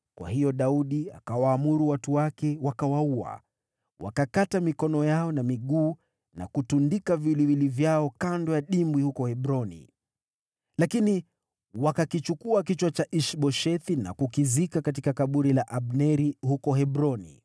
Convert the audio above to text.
Kwa hiyo Daudi akawaamuru watu wake, wakawaua. Wakakata mikono yao na miguu, na kutundika viwiliwili vyao kando ya dimbwi huko Hebroni. Lakini wakakichukua kichwa cha Ish-Boshethi na kukizika katika kaburi la Abneri huko Hebroni.